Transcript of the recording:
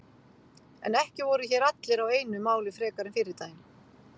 En ekki voru hér allir á einu máli frekar en fyrri daginn.